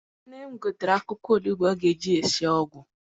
Nne m gotere akwụkwọ onugbu ọ ga eji sie ọgwụ.